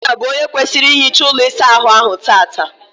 Ikenna bụ onye kwesịrị ihicha ụlọ ịsa ahụ tata.